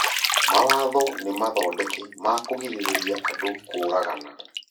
mawatho nĩmathondeke ma kũgirĩrĩria andũ kũũragana